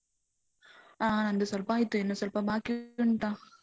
ಆ ನಂದು ಸ್ವಲ್ಪ ಆಯ್ತು, ಇನ್ನು ಸ್ವಲ್ಪ ಬಾಕಿ ಉಂಟ.